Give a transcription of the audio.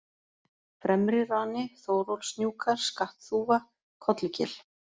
Fremrirani, Þórólfshnjúkar, Skattþúfa, Kollugil